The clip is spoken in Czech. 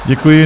Děkuji.